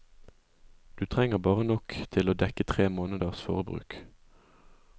Du trenger bare nok til å dekke tre måneders forbruk.